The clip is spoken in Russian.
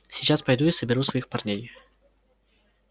сейчас пойду и соберу своих парней